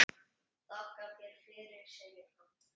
Þakka þér fyrir, segir hann.